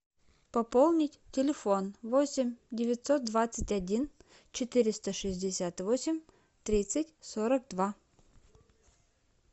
пополнить телефон восемь девятьсот двадцать один четыреста шестьдесят восемь тридцать сорок два